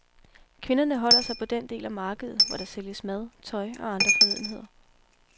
Kvinderne holder sig på den del af markedet, hvor der sælges mad, tøj og andre fornødenheder.